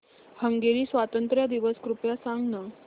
Hungary स्वातंत्र्य दिवस कृपया सांग ना